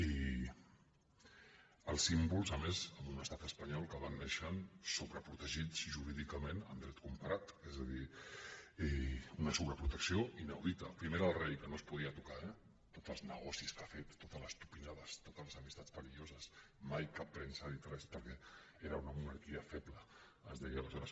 i els símbols a més en un estat espanyol que van néixer sobreprotegits jurídicament en dret comparat és a dir una sobreprotecció inaudita primer era el rei que no es podia tocar eh tots els negocis que ha fet totes les tupinades totes les amistats perilloses mai cap premsa n’ha dit res perquè era una monarquia feble es deia aleshores